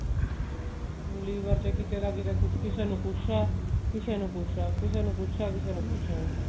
liver ਚ ਕਿਤੇ ਨਾ ਕਿਤੇ ਕਿਸੇ ਨੂੰ ਕੁੱਛ ਹੈ ਕਿਸੇ ਨੂੰ ਕੁੱਛ ਹੈ ਕਿਸੇ ਨੂੰ ਕੁੱਛ ਹੈ